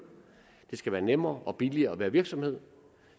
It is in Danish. det skal være nemmere og billigere at være virksomhed